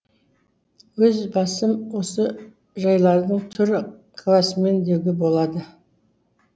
өз басым осы жайлардың тірі куәсімін деуге болады